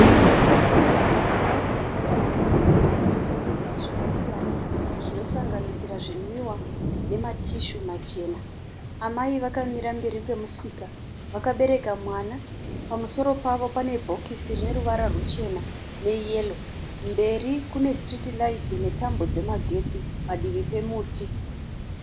Vanhu vagere pamisika vachitengesa zvakasiyana, zvinosanganisira zvinwiwa nematishu machena. Amai vakamira mberi kwemusika vakabereka mwana pamusoro pavo pane bhokisi rine ruvara ruchena neyero. Mberi kune sitiriti raiti netambo dzemagetsi padivi pomuti.